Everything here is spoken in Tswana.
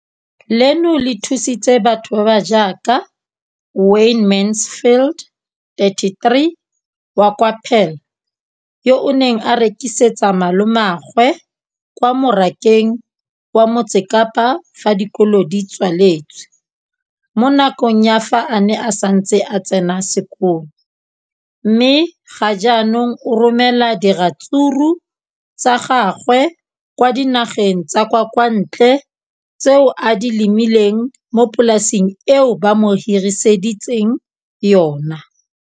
leno le thusitse batho ba ba jaaka Wayne Mansfield, 33, wa kwa Paarl, yo a neng a rekisetsa malomagwe kwa Marakeng wa Motsekapa fa dikolo di tswaletse, mo nakong ya fa a ne a santse a tsena sekolo, mme ga jaanong o romela diratsuru tsa gagwe kwa dinageng tsa kwa ntle tseo a di lemileng mo polaseng eo ba mo hiriseditseng yona.